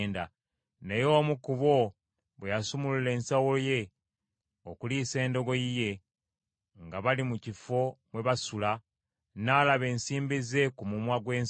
Naye omu ku bo bwe yasumulula ensawo ye okuliisa endogoyi ye nga bali mu kifo mwe baasula, n’alaba ensimbi ze ku mumwa gw’ensawo;